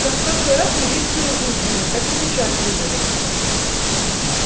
как в прошлый раз милицию вызвали так и сейчас вызовем